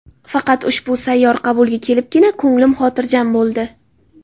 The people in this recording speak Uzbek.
Faqat ushbu sayyor qabulga kelibgina ko‘nglim xotirjam bo‘ldi.